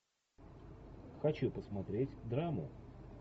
хочу посмотреть драму